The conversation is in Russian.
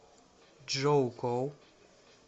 чжоукоу